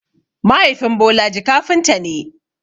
Mahaifin Bolaji kafinta ne.